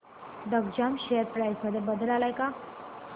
Digjam share price मध्ये बदल आलाय का